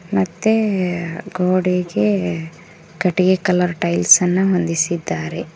ಮತ್ತೆ ಗೋಡೆಗೆ ಕಟ್ಟಿಗೆ ಕಲರ್ ಟೈಲ್ಸ್ ಅನ್ನ ಹೊಂದಿಸಿದ್ದಾರೆ.